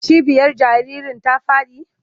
Cibiyar jaririn ta faɗi?